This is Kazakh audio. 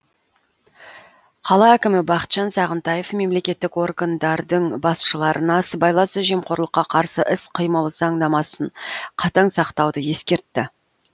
қала әкімі бақытжан сағынтаев мемлекеттік органдардың басшыларына сыбайлас жемқорлыққа қарсы іс қимыл заңнамасын қатаң сақтауды ескертті